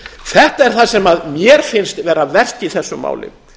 þetta er það sem mér finnst vera verst í þessu máli